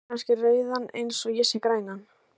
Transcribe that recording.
Sérð þú kannski rauðan eins og ég sé grænan?